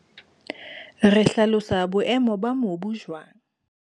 RE HLALOSA BOEMO BA MOBU JWANG?